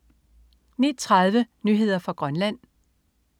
09.30 Nyheder fra Grønland